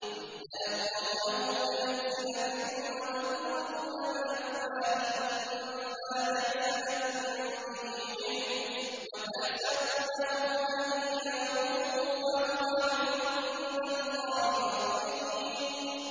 إِذْ تَلَقَّوْنَهُ بِأَلْسِنَتِكُمْ وَتَقُولُونَ بِأَفْوَاهِكُم مَّا لَيْسَ لَكُم بِهِ عِلْمٌ وَتَحْسَبُونَهُ هَيِّنًا وَهُوَ عِندَ اللَّهِ عَظِيمٌ